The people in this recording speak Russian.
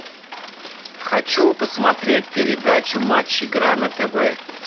хочу посмотреть передачу матч игра на тв